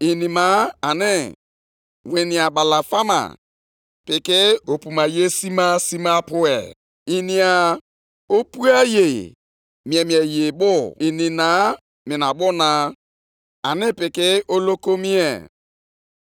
Ha bụ mba a na-atụ ụjọ, na ndị dịkwa egwu. Ha bụ iwu nye onwe ha, ihe ha tụpụtara ka ha na-eme. Ọ bụ onwe ha ka ha na-ebuli elu.